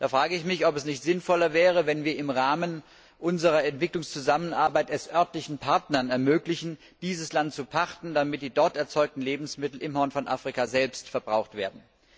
Da frage ich mich, ob es nicht sinnvoller wäre, wenn wir es im Rahmen unserer Entwicklungszusammenarbeit örtlichen Partnern ermöglichen, dieses Land zu pachten, damit die dort erzeugten Lebensmittel am Horn von Afrika selbst verbraucht werden.